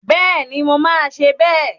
Bẹ́ẹ̀ni, mo máa ṣe bẹ́ẹ̀